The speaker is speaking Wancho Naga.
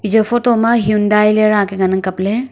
ija photo ma Hyundai le raka ngan ang kap ley.